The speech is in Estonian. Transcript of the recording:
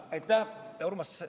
Aitäh, Urmas!